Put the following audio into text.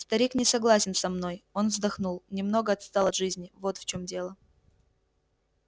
старик не согласен со мной он вздохнул немного отстал от жизни вот в чём дело